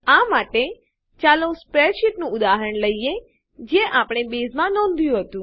આ માટે ચાલો સ્પ્રેડશીટનું ઉદાહરણ લઈએ જે આપણે બેઝમાં નોંધ્યું હતું